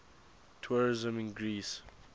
tourism in greece